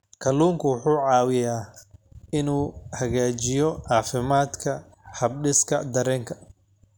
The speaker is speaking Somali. Kalluunku wuxuu caawiyaa inuu hagaajiyo caafimaadka habdhiska dareenka.